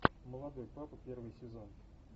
молодой папа первый сезон